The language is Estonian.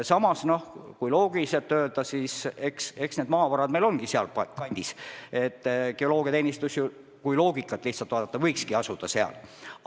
Samas, kui loogiliselt mõelda, siis eks maavarad meil ongi seal kandis ja geoloogiateenistus, kui puhtloogiliselt läheneda, võikski asuda seal.